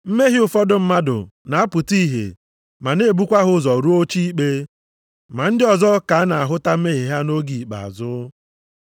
Mmehie ụfọdụ mmadụ na-apụta ihe ma na-ebukwa ha ụzọ rụọ oche ikpe, ma ndị ọzọ ka a na-ahụta mmehie ha nʼoge ikpeazụ.